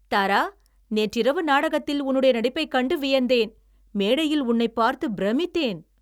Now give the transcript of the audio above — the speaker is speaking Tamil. தாரா, நேற்றிரவு நாடகத்தில் உன்னுடைய நடிப்பைக் கண்டு வியந்தேன். மேடையில் உன்னைப் பார்த்து பிரமித்தேன்.